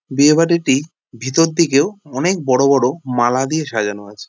বিয়েবাড়িটি ভিতর দিকেও অনেক বড়ো বড়ো মালা দিয়ে সাজানো আছে।